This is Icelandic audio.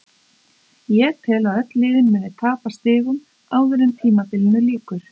Ég tel að öll liðin muni tapa stigum áður en tímabilinu lýkur.